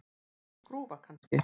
Einhver skrúfa, kannski.